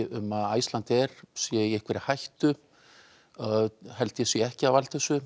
um að Icelandair sé í hættu held ég sé ekki að valda þessu